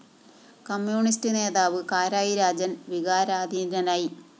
communist നേതാവ് കാരായി രാജന്‍ വികാരാധീനനായി